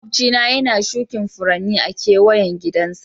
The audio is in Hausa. Maƙwabci na yana shukin Furanni a'keweyan gidan sa.